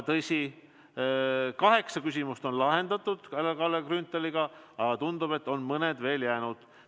Tõsi, kaheksa küsimust on lahendatud Kalle Grünthaliga, aga tundub, et mõni on veel jäänud.